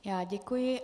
Já děkuji.